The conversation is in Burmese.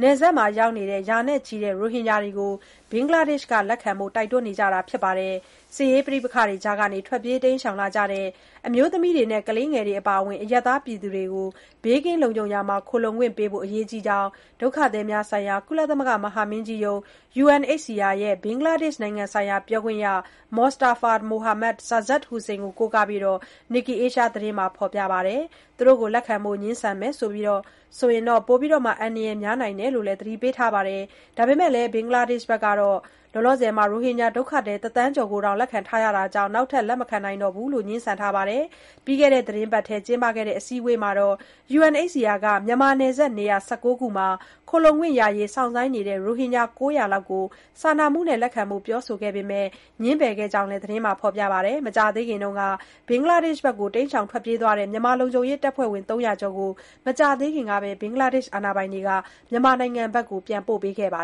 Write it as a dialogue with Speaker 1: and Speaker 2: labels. Speaker 1: နယ်စပ်မှာရောက်နေတဲ့ ရာနဲ့ချီတဲ့ ရိုဟင်ဂျာတွေကို ဘင်္ဂလားဒေ့ရှ် နိုင်ငံက လက်ခံဖို့ တိုက်တွန်းနေကြတာပါ။ ပဋိပက္ခတွေကြားကနေ ထွက်ပြေးလာကြတဲ့ အမျိုးသမီးနဲ့ ကလေးတွေ အပါအဝင် အရပ်သားတွေကို ဘေးကင်းလုံခြုံရာမှာ ခိုလှုံခွင့်ပေးဖို့ အရေးကြီးကြောင်း ဒုက္ခသည်များဆိုင်ရာ ကုလသမဂ္ဂ မဟာမင်းကြီးရုံး (UNHCR) ရဲ့ ဘင်္ဂလားဒေ့ရှ်နိုင်ငံဆိုင်ရာ ပြောခွင့်ရ Mostafa Mohammad Sazzad Hossain ကို ကိုးကားပြီး Nikkei Asia သတင်းက ဖော်ပြပါတယ်။ လက်ခံဖို့ ငြင်းဆန်မယ်ဆိုရင် ပိုပြီး အန္တရာယ် များတယ်လို့လည်း သတိပေးထားတာပါ။ ဒါပေမဲ့လည်း ဘင်္ဂလားဒေ့ရှ် အစိုးရကတော့ ရိုဟင်ဂျာ ဒုက္ခသည် ၁ သန်းကျော်ကို လက်ခံထားရတာကြောင့် နောက်ထပ် လက်မခံနိုင်တော့ကြောင်း ပြောဆိုထားပါတယ်။ ပြီးခဲ့တဲ့ သီတင်းပတ်ထဲ ကျင်းပခဲ့တဲ့ အစည်းအဝေးမှာ UNHCR က မြန်မာနယ်စပ် နေရာ ၁၉ ခုမှာ ခိုလှုံခွင့်ရဖို့ စောင့်ဆိုင်းနေတဲ့ ရိုဟင်ဂျာ ၉၀၀ လောက်ကို စာနာမှုနဲ့ လက်ခံဖို့ ပြောဆိုခဲ့ပေမဲ့ ငြင်းပယ်ခံခဲ့ရတယ်လို့လည်း သတင်းက ဖော်ပြခဲ့တာပါ။ တိုက်ပွဲတွေအတွင်း ဘင်္ဂလားဒေ့ရှ်နိုင်ငံဘက် ထွက်ပြေးသွားတဲ့ မြန်မာလုံခြုံရေးတပ်ဖွဲ့ဝင် ၃၀၀ ကျော်ကိုတော့ မကြာသေးခင်ကပဲ ဘင်္ဂလားဒေ့ရှ် အာဏာပိုင်တွေက မြန်မာနိုင်ငံ ပြန်ပို့ခဲ့ပါ